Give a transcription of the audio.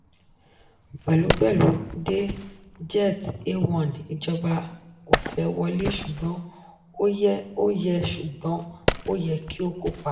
pẹ̀lúpẹ̀lú de jet a one; ìjọba ò fẹ́ wọlé ṣùgbọ́n ó yẹ ṣùgbọ́n ó yẹ kí ó kópa.